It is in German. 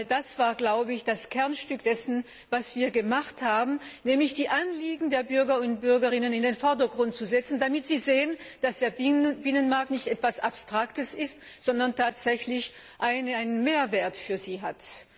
Das war das Kernstück dessen, was wir gemacht haben, nämlich die Anliegen der Bürger und Bürgerinnen in den Vordergrund zu stellen, damit sie sehen, dass der Binnenmarkt nicht etwas Abstraktes ist, sondern tatsächlich einen Mehrwert für sie hat.